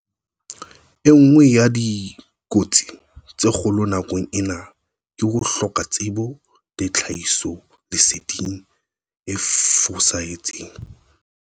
E nngwe ya dikotsi tse kgolo nakong ena ke ho hloka tsebo le tlhahisoleseding e fosahetseng.